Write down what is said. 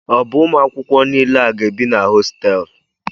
O bu Ụmụ akwụkwọ niile a ga-ebi na hostéélu?